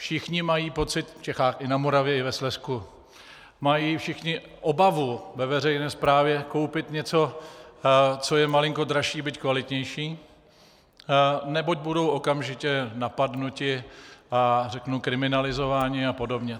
Všichni mají pocit, v Čechách i na Moravě i ve Slezsku mají všichni obavu ve veřejné správě koupit něco, co je malinko dražší, byť kvalitnější, neboť budou okamžitě napadeni a řeknu kriminalizováni a podobně.